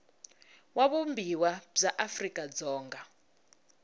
wa vumbiwa bya afrika dzonga